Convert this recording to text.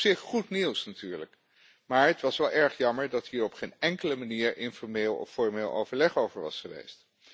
Op zich goed nieuws natuurlijk, maar het was wel erg jammer dat hier op geen enkele manier informeel of formeel overleg over was geweest.